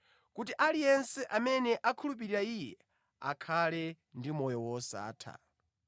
kuti aliyense amene akhulupirira Iye akhale ndi moyo wosatha.